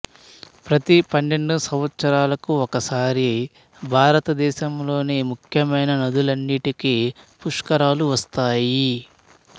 ప్రతి పన్నెండు సంవత్సరాలకు ఒకసారి భారతదేశములోని ముఖ్యమైన నదులన్నింటికీ పుష్కరాలు వస్తాయి